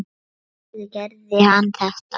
Af hverju gerði hann þetta?